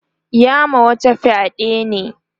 ya ma wata fyaɗe ne